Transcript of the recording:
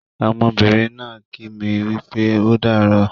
Ọmọbìnrin náà ń kí mi wípé ódààrọ́